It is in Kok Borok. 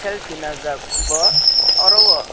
selfie najak bo oro o.